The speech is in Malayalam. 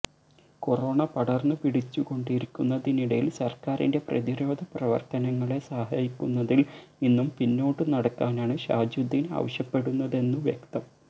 കൊറോണ പടർന്നു പിടിച്ചുകൊണ്ടിരിക്കുന്നതിനിടയിൽ സർക്കാരിൻ്റെ പ്രതിരോധ പ്രവർത്തനങ്ങളെ സഹായിക്കുന്നതിൽ നിന്നും പിന്നോട്ടു നടക്കാനാണ് ഷാജുദ്ദീൻ ആവശ്യപ്പെടുന്നതെന്നു വ്യക്തം